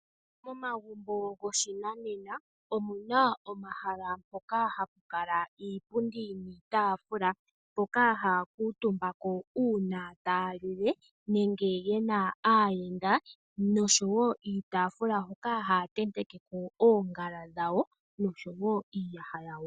Omagumbo goshinanena, omuna omahala mpoka hapukala iipundi niitaafula, mpoka haakutumbako uuna taalile, nenge yena aayenda noshowoo iitafula hoka hatentekeko ongala dhawo noshowoo iiyaha yawo.